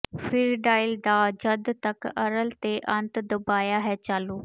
ਫਿਰ ਡਾਇਲ ਦਾਅ ਜਦ ਤੱਕ ਅਰਲ ਦੇ ਅੰਤ ਦਬਾਇਆ ਹੈ ਚਾਲੂ